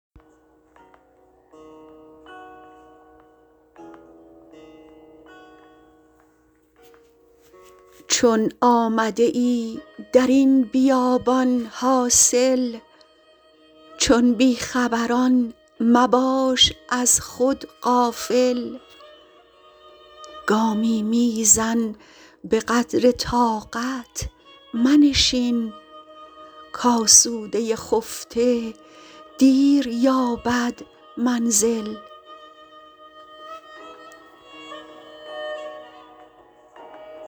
چون آمده ای در این بیابان حاصل چون بیخبران مباش از خود غافل گامی میزن به قدر طاقت منشین کاسوده خفته دیر یابد منزل